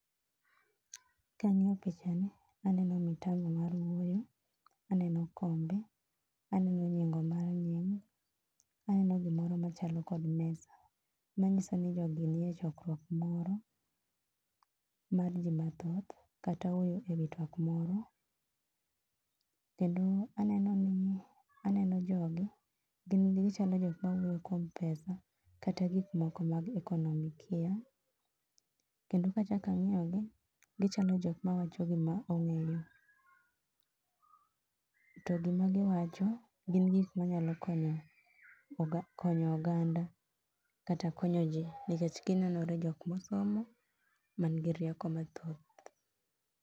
Kang'iyo pichani, aneno mitambo mar wuoyo, aneno kombe, aneno nyingo mar, aneno gimoro machalo kod mesa. Manyiso ni jogi ni e chokrwok moro mar jii mathoth kata wuoyo ewi twak moro Kendo aneno ni aneno jogi, gin gichalo jok mawuoyo kuom pesa, kata gik moko mag ekonomikia. Kendo kachak ang'iyo gi, gichalo jok mawacho gima ong'eyo. To gima giwacho, gin gik manyalo konyo oga konyo oganda kata konyo jii nikech ginenore jok mosomo man gi rieko mathoth